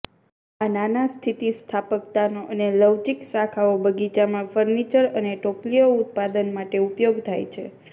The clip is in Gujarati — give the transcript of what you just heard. આ નાના સ્થિતિસ્થાપકતાનો અને લવચીક શાખાઓ બગીચામાં ફર્નિચર અને ટોપલીઓ ઉત્પાદન માટે ઉપયોગ થાય છે